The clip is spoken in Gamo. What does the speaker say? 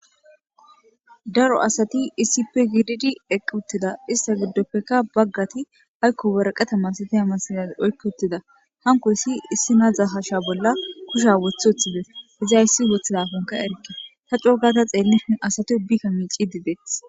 Daro asati issippe giididi eqq uttida ista giddoppekka baggati haykko waraqatama sitama sina oykk uttida hanko yssi issi nadza hasha bolla kusha wothe uthibes izayssi wothidafonka erke ta cogata xeellii asati ubbikka miici dibeeth.